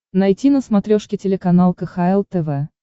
найти на смотрешке телеканал кхл тв